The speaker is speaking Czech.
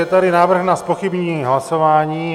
Je tady návrh na zpochybnění hlasování.